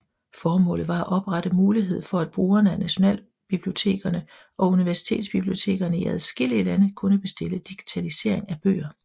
Formålet var at oprette mulighed for at brugerne af nationalbibliotekerne og universitetsbibliotekerne i adskillige lande kunne bestille digitalisering af bøger